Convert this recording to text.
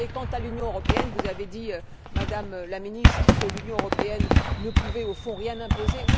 Quant à l'Union européenne, vous avez dit, Madame la Ministre, que l'Union ne pouvait au fond rien imposer.